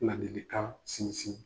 Ladilikan sinsin